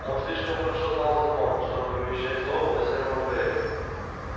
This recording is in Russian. он слишком хорошо знал закон чтобы вымещать злобу на сером бобре